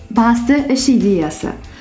басты үш идеясы